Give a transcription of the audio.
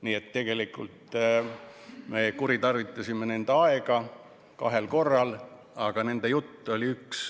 Nii et tegelikult me kuritarvitasime nende aega kahel korral, aga nende jutt oli üks.